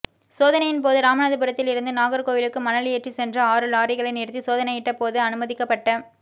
சோதனையின் போது ராமநாதபுரத்தில் இருந்து நாகர்கோவிலுக்கு மணல் ஏற்றி சென்ற ஆறு லாரிகளை நிறுத்தி சோதனையிட்ட போது அனுமதிக்கப்பட்ட